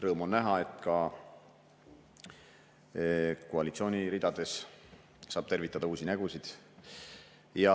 Rõõm on näha, et ka koalitsiooni ridades saab tervitada uusi nägusid.